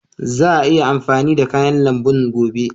Za a iya amfani da kayan lambun gobe.